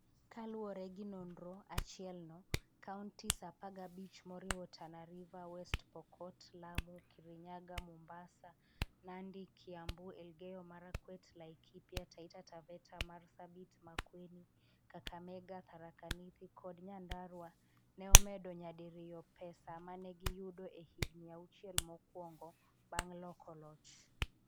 Kaluwore gi nonro achielno, counties 15 moriwo Tana River, West Pokot, Lamu, Kirinyaga, Mombasa, Nandi, Kiambu, Elgeyo-Marakwet, Laikipia, Taita Taveta, Marsabit, Makueni, Kakamega, Tharaka-Nithi kod Nyandarua ne omedo nyadiriyo pesa ma ne giyudo e higini auchiel mokwongo bang' loko loch.